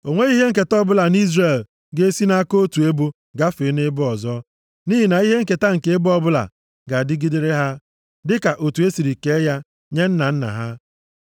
O nweghị ihe nketa ọbụla nʼIzrel ga-esi nʼaka otu ebo gafee nʼebo ọzọ. Nʼihi na ihe nketa nke ebo ọbụla ga-adịgidere ha dịka otu e siri kee ya nye nna nna ha.